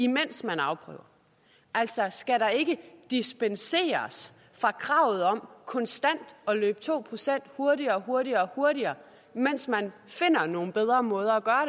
mens man afprøver altså skal der ikke dispenseres fra kravet om konstant at løbe to procent hurtigere hurtigere og hurtigere mens man finder nogle bedre måder